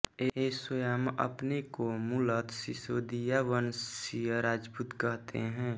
ये स्वयं अपने को मूलत सिसोदिया वंशीय राजपूत कहते हैं